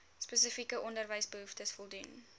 spesifieke onderwysbehoeftes voldoen